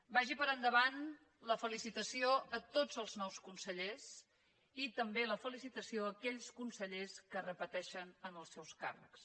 vagi per endavant la felicitació a tots els nous consellers i també la felicitació a aquells consellers que repeteixen en els seus càrrecs